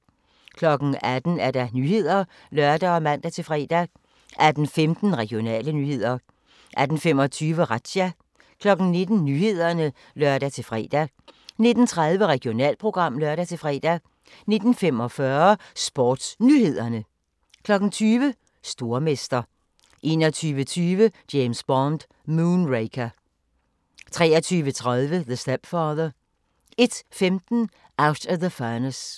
18:00: Nyhederne (lør og man-fre) 18:15: Regionale nyheder 18:25: Razzia 19:00: Nyhederne (lør-fre) 19:30: Regionalprogram (lør-fre) 19:45: SportsNyhederne 20:00: Stormester 21:20: James Bond: Moonraker 23:30: The Stepfather 01:15: Out of the Furnace